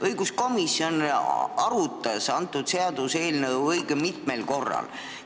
Õiguskomisjon arutas seda seaduseelnõu õige mitmel korral.